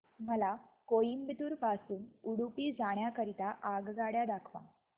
मला कोइंबतूर पासून उडुपी जाण्या करीता आगगाड्या दाखवा